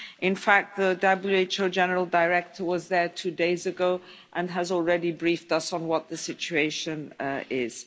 In fact, the WHO General Director was there two days ago and has already briefed us on what the situation